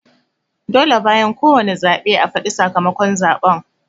Dole bayan ko wane zaɓe a fadi sakamakon zaɓen